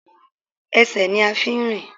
Esè ni a n fi n rìn